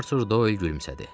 Artur Doy gülümsədi.